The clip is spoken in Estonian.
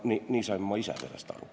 Nii sain ma ise sellest aru.